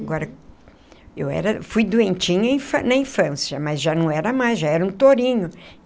Agora, eu era fui doentinha na infância, mas já não era mais, já era um tourinho.